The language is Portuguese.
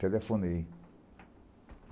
Telefonei.